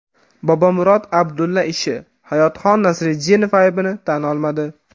Bobomurod Abdulla ishi: Hayotxon Nasriddinov aybini tan olmadi.